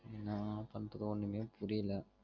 ஏன்னா பண்றது ஒன்னுமே புரியல